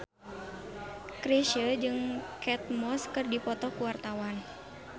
Chrisye jeung Kate Moss keur dipoto ku wartawan